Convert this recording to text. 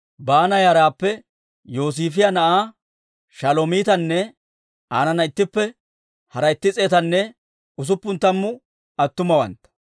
Baana yaraappe Yosiifiyaa na'aa Shalomiitanne aanana ittippe hara itti s'eetanne usuppun tammu attumawantta,